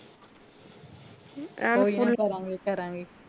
ਕੋਈ ਨਾ ਕਰਾਂਗੇ ਕਰਾਂਗੇ